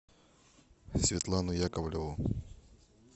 светлану яковлеву